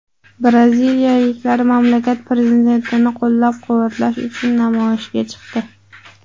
Braziliyaliklar mamlakat prezidentini qo‘llab-quvvatlash uchun namoyishga chiqdi.